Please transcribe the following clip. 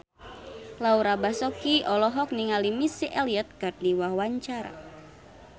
Laura Basuki olohok ningali Missy Elliott keur diwawancara